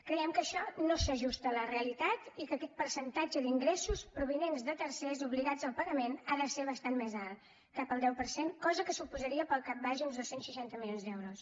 creiem que això no s’ajusta a la realitat i que aquest percentatge d’ingressos provinents de tercers obligats al pagament ha de ser bastant més alt cap al deu per cent cosa que suposaria pel cap baix uns dos cents i seixanta milions d’euros